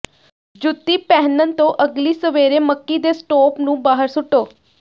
ਜੁੱਤੀ ਪਹਿਨਣ ਤੋਂ ਅਗਲੀ ਸਵੇਰੇ ਮੱਕੀ ਦੇ ਸਟੋਪ ਨੂੰ ਬਾਹਰ ਸੁੱਟੋ